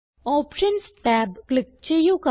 options tab click ചെയ്യുക